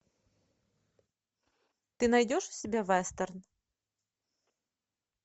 ты найдешь у себя вестерн